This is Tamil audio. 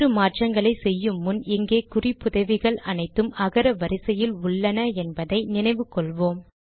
வேறு மாற்றங்களை செய்யும் முன் இங்கே குறிப்புதவிகள் அனைத்தும் அகர வரிசையில் உள்ளன என்பதை நினைவில் கொள்வோம்